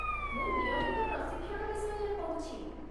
ମୁଁ ନିୟମିତ ପ୍ରଶିକ୍ଷଣ ବିଷୟରେ କହୁଛି